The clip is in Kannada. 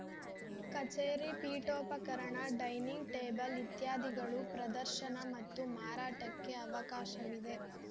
ಕಚೇರಿ ಪೀಠೋಪಕರಣ ಡೈನಿಂಗ್‌ ಟೇಬಲ್‌ ಇತ್ಯಾದಿಗಳು ಪ್ರದರ್ಶನ ಮತ್ತು ಮಾರಾಟಕ್ಕೆ ಅವಕಾಶವಿದೆ